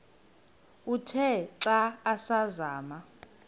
uthe xa asazama